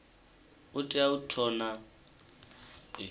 u tea u vhona zwauri